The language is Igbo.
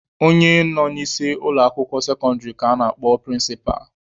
Onye nọ n'isi ụlọ akwụkwọ sekọndịrị ka a na-akpọ prịnsịpa.